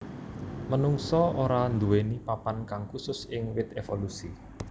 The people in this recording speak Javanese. Menungsa ora nduwèni papan kang khusus ing wit évolusi